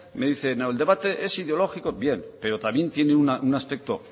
me dice no el debate es ideológico bien pero también tiene un aspecto